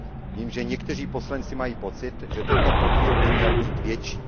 Vím, že někteří poslanci mají pocit, že tento podíl by měl být větší.